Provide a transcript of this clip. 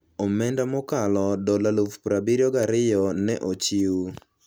omenda mokalo dola 72,000 ne ochiw.